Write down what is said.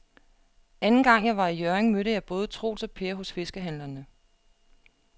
Anden gang jeg var i Hjørring, mødte jeg både Troels og Per hos fiskehandlerne.